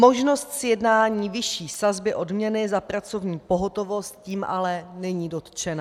Možnost sjednání vyšší sazby odměny za pracovní pohotovost tím ale není dotčena.